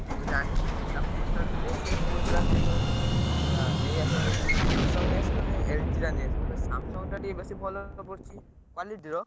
ସେ ସବୁ ଜାଣିଛି ସେ ତାକୁ ପଚାରୁଥିଲି, ସେ କହୁଥିଲା, ସେଇଥିପାଇଁ କହିଲା, ନେଇଆସ ଭାଇ ତମେ Samsung ନେଇଆସ ନହେଲେ ତମେ LG ଟା ନେଇଆସ କହିଲା Samsung ଟା ଟିକେ ବେଶୀ ଭଲ ପଡୁଛି। quality ର।